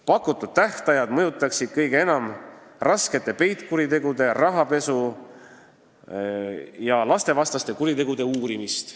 Pakutud tähtajad mõjutaksid kõige enam raskete peitkuritegude, rahapesujuhtumite ja lastevastaste kuritegude uurimist.